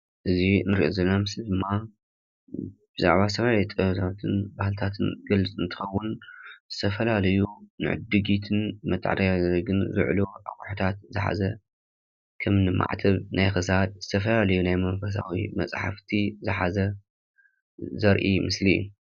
እዚ እንሪኦ ዘለና ምስሊ ድማ ብዛዕባ ስነ ጥበብን ባህልታትን ዝገልፅ እንትኸዉን ዝተፈላለዩ ንዕድጊትን ንመታዓዳደግን ዝዉዕሉ ኣቑሑታት ዝሓዘ ከምኒ ማዕተብ ናይ ክሳድ ዝተፈላለዩ ናይ ሙንኮሳዊ መፅሓፍቲ ዝሓዘ ዘርኢ ምስሊ እዩ።